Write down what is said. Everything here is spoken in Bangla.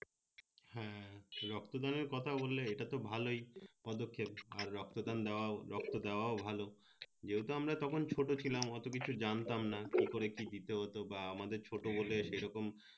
হ্যাঁ রক্ত দানের কথা বললে এটা তো ভালোই পদক্ষেপ আর রক্ত দান দেওয়া রক্ত দেওয়াও ভালো যেহেতু আমরা তখন ছোট ছিলাম অত কিছু জানতাম না তার পরে কি দিতে হত বা আমাদের ছোট বলে সে রকম